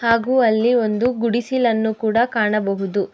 ಹಾಗೂ ಅಲ್ಲಿ ಒಂದು ಗುಡಿಸಿಲನ್ನು ಕೂಡ ಕಾಣಬಹುದು.